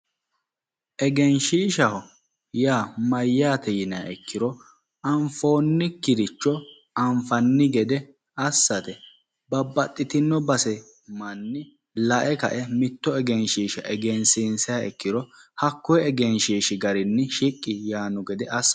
Egenshiishshashaho yaa mayyate yiniha ikkiro anfoonkiricho anfanni gede assate babbaxitinno base manni lae kae mitto egenshiishsha egeshsiishshiha ikkiro lae gamba yaanni assate